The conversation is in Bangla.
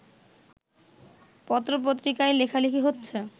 পত্রপত্রিকায় লেখালেখি হচ্ছে